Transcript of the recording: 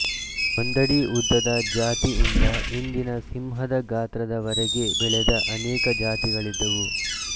ಒಂದಡಿ ಉದ್ದದ ಜಾತಿಯಿಂದ ಇಂದಿನ ಸಿಂಹದ ಗಾತ್ರದವರೆಗೆ ಬೆಳೆದ ಅನೇಕ ಜಾತಿಗಳಿದ್ದವು